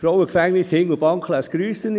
Das Frauengefängnis Hindelbank lässt grüssen.